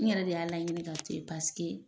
N yɛrɛ de y'a laɲini ka to yen, paseke